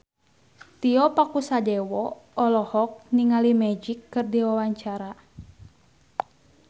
Tio Pakusadewo olohok ningali Magic keur diwawancara